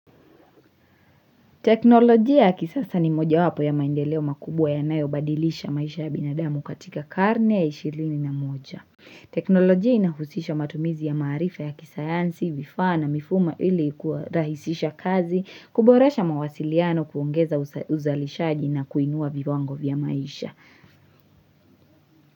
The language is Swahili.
Teknolojia ya kisasa ni moja wapo ya maendeleo makubwa yanayo badilisha maisha ya binadamu katika karne ya ishirini na moja. Teknolojia inahusisha matumizi ya maharifa ya kisayansi, vifaa na, mifumo ili kurahisisha kazi, kuboresha mawasiliano kuongeza uzalishaji na kuinua viwango vya maisha.